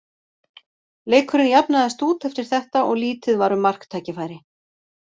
Leikurinn jafnaðist út eftir þetta og lítið var um marktækifæri.